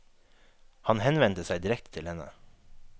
Han henvendte seg direkte til henne.